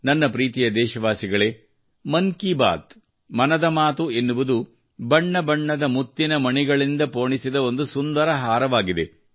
ನನ್ನ ಪ್ರೀತಿಯ ದೇಶವಾಸಿಗಳೇ ಮನ್ ಕಿ ಬಾತ್ ಮನದ ಮಾತು ಎನ್ನುವುದು ಬಣ್ಣ ಬಣ್ಣದ ಮುತ್ತಿನ ಮಣಿಗಳಿಂದ ಪೋಣಿಸಿದ ಒಂದು ಸುಂದರ ಹಾರವಾಗಿದೆ